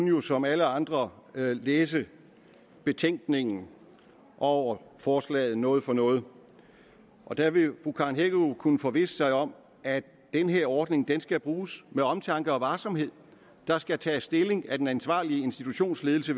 jo som alle andre læse betænkningen over forslaget om noget for noget og der vil fru karen hækkerup kunne forvisse sig om at den her ordning skal bruges med omtanke og varsomhed der skal tages stilling af den ansvarlige institutionsledelse